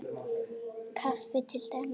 Kaffi til dæmis.